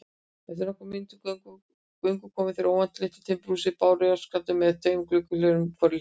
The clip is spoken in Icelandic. Eftir nokkurra mínútna göngu komu þeir óvænt að litlu timburhúsi, bárujárnsklæddu með tveimur gluggahlerum á hvorri hlið.